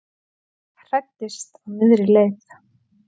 Hræddist á miðri leið